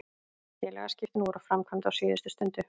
Félagsskiptin voru framkvæmd á síðustu stundu.